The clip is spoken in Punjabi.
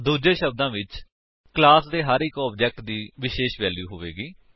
ਦੂੱਜੇ ਸ਼ਬਦਾਂ ਵਿੱਚ ਕਲਾਸ ਦੇ ਹਰ ਇੱਕ ਆਬਜੇਕਟ ਦੀ ਵਿਸ਼ੇਸ਼ ਵੈਲਿਊਜ ਹੋਵੇਗੀ